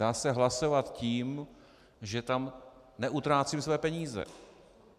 Dá se hlasovat tím, že tam neutrácím své peníze.